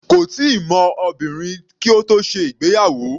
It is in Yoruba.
Kò tíì mọ obìnrin kí ó tó ṣe ìgbéyàwó.